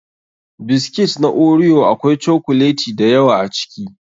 Biscuits na Oreo akwai cokuleti da yawa a ciki.